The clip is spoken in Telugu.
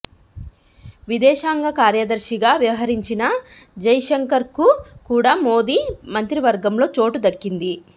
విదేశాంగ కార్యదర్శిగా వ్యవహరించిన జైశంకర్కు కూడా మోదీ మంత్రివర్గంలో చోటు దక్కింది